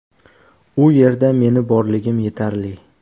U yerda meni borligim yetarli.